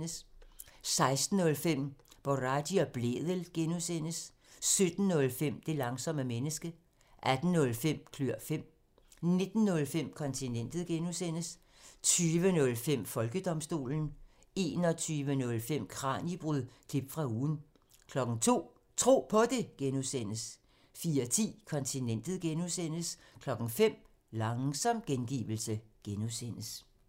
16:05: Boraghi og Blædel (G) 17:05: Det langsomme menneske 18:05: Klør fem 19:05: Kontinentet (G) 20:05: Folkedomstolen 21:05: Kraniebrud – klip fra ugen 02:00: Tro På Det (G) 04:10: Kontinentet (G) 05:00: Langsom gengivelse (G)